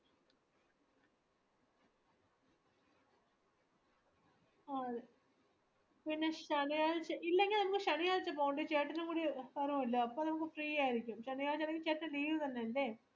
അതേ പിന്നെ ശനിയാഴ്ചേ ഇല്ലെങ്കി നമക് ശനിയാഴ്ചേ പോവാണ്ടി ചേട്ടനുംകൂടി കൊറവുല്ലോ അപ്പൊ നമക് free ആയിരിക്കും ശനിയാഴ്ച ആണെന്കി ചേട്ടന്